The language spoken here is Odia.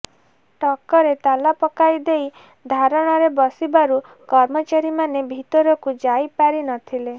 ଟକରେ ତାଲା ପାକାଇ ଦେଇ ଧାରଣାରେ ବସିବାରୁ କର୍ମଚାରୀମାନେ ଭିତରକୁ ଯାଇପାରି ନ ଥିଲେ